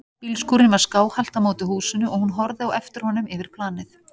Bílskúrinn var skáhallt á móti húsinu og hún horfði á eftir honum yfir planið.